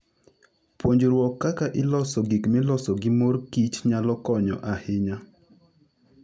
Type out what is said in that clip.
Puonjruok kaka iloso gik miloso gi mor kich nyalo konyo ahinya.